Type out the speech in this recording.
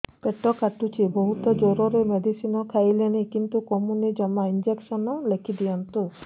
ପେଟ କାଟୁଛି ବହୁତ ଜୋରରେ ମେଡିସିନ ଖାଇଲିଣି କିନ୍ତୁ କମୁନି ଜମା ଇଂଜେକସନ ଲେଖିଦିଅନ୍ତୁ